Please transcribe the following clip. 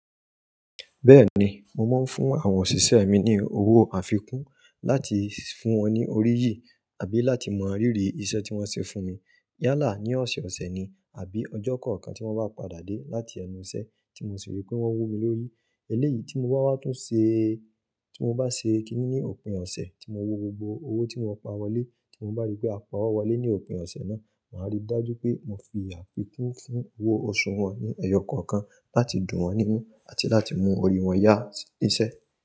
Bẹ́ẹ̀ni, mo máa ń fún àwọn òṣìṣẹ́ mi ní owó àfikún láti fún wọn ní oríyìí àbí láti mọ ríìrì iṣẹ́ tí wọ́n ṣe fún mi. Yálà ní ọ̀sẹ̀ẹ̀sẹ̀ ni àbí ọjọ́ kọ̀ọ̀kan tí wọ́n bá padà dé láti ẹnu iṣẹ́ tí mo sì rí pé wọ́n wú mi lórí. Eléyìí tí mo wa wá tún ṣe, tí mo bá ṣe kiní ní òpin ọ̀sẹ̀, tí mo wo gbogbo owó tí mo pa wọlé, tí mo bá rí pé a pa owọ wọlé ní òpin ọ̀sẹ̀ náà, màá rí i dájú pé mo fi àfikún fún owó oṣù wọn ní ẹyọ kọ̀ọ̀kan láti dùn wọ́n nínú àti láti mú orí wọn yá si íṣẹ́.